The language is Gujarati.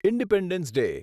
independence day